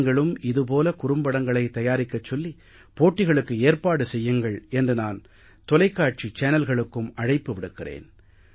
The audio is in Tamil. நீங்களும் இது போல குறும்படங்களைத் தயாரிக்கச் சொல்லி போட்டிகளுக்கு ஏற்பாடு செய்யுங்கள் என்று நான் தொலைக்காட்சி சேனல்களுக்கும் அழைப்பு விடுக்கிறேன்